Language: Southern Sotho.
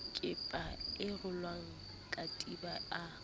kepa a rola katiba a